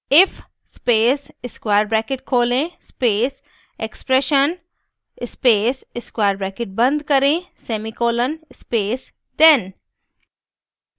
if space square bracket खोलें space expression space square bracket बंद करें semicolon space then